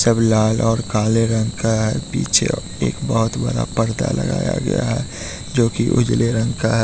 सब लाल और काले रंग का पीछे एक बहोत बड़ा पर्दा लगाया गया है जोकि उजले रंग का है।